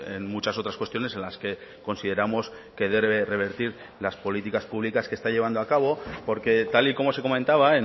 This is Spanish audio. en muchas otras cuestiones en las que consideramos que debe revertir las políticas públicas que está llevando a cabo porque tal y como se comentaba